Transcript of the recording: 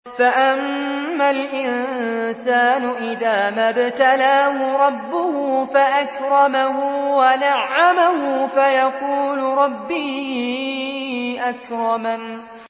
فَأَمَّا الْإِنسَانُ إِذَا مَا ابْتَلَاهُ رَبُّهُ فَأَكْرَمَهُ وَنَعَّمَهُ فَيَقُولُ رَبِّي أَكْرَمَنِ